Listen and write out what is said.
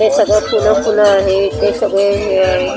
हे सगळं फुलं फुलं आहे हे सगळे हे --